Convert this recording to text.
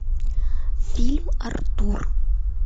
фильм артур